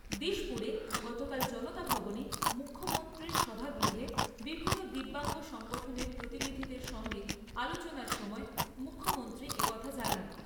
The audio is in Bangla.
দিসপুরে গতকাল জনতা ভবনে মুখ্যমন্ত্রীর সভাগৃহে বিভিন্ন দিব্যাঙ্গ সংগঠনের প্রতিনিধিদের সঙ্গে আলোচনার সময় মুখ্যমন্ত্রী একথা জানান।